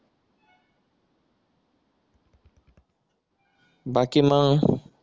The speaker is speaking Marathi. बाकी मग